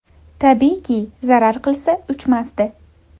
Tabiiyki, zarar qilsa, uchmasdi.